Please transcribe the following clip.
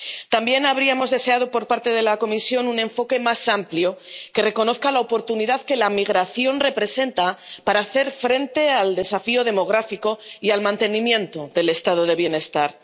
También habríamos deseado por parte de la Comisión un enfoque más amplio que reconozca la oportunidad que la migración representa para hacer frente al desafío demográfico y al mantenimiento del estado del bienestar.